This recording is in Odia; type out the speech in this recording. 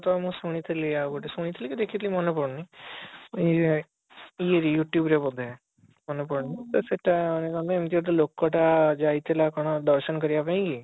ତ ମୁଁ ଶୁଣିଥିଲି ଆଉ ଗୋଟିଏ ଶୁଣି ଥିଲି କି ଦେଖିଥିଲି ମାନେ ପଡୁନି ଇଏ ଇଏ ରେ you tube ରେ ବୋଧେ ମନେ ପଡୁନି ମନେ ପଡୁନି ତ ସେଟା ଏମିତି ଗୋଟେ ଲୋକ ଟା ଯାଇଥିଲା କଣ ଦର୍ଶନ କରିବା ପାଇଁ